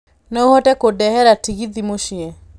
no ũhote kũndehera tegithi mũciĩ